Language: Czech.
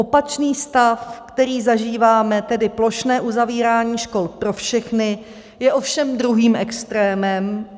Opačný stav, který zažíváme, tedy plošné uzavírání škol pro všechny, je ovšem druhým extrémem.